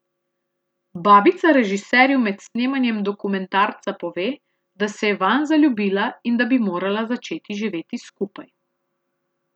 Babica režiserju med snemanjem dokumentarca pove, da se je vanj zaljubila in da bi morala začeti živeti skupaj.